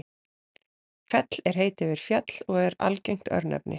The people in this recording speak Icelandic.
fell er heiti yfir fjall og er algengt örnefni